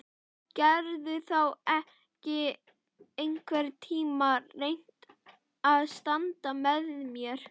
Geturðu þá ekki einhvern tíma reynt að standa með mér?